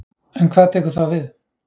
En hvað tekur þá við?